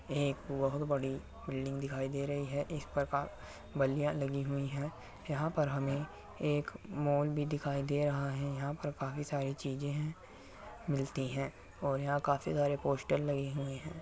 ये एक बहुत बड़ी बिल्डिंग दिखाई दे रही है। इस प्रकार बल्लीयां लगी हुइ हैं। यहाँ पर हमें एक मॉल भी दिखाई दे रहा है। यहाँ पे काफी सारी चीजें हैं मिलती हैं और यहाँ काफी सारे पोस्टर लगे हुए हैं।